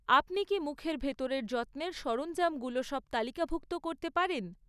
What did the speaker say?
আপনি কী মুখের ভেতরের যত্নের সরঞ্জামগুলো সব তালিকাভুক্ত করতে পারেন?